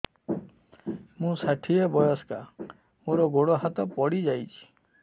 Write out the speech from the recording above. ମୁଁ ଷାଠିଏ ବୟସ୍କା ମୋର ଗୋଡ ହାତ ପଡିଯାଇଛି